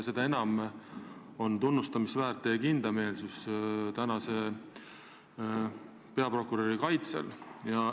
Seda enam on tunnustamist väärt teie kindlameelsus praeguse peaprokuröri kaitsmisel.